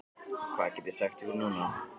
Hvað get ég sagt ykkur núna?